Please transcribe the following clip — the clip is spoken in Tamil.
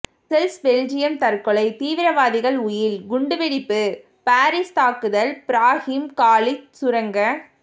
பிரசல்ஸ் பெல்ஜியம் தற்கொலை தீவிரவாதிகள் உயில் குண்டுவெடிப்பு பாரீஸ் தாக்குதல் பிராஹிம் காலித் சுரங்க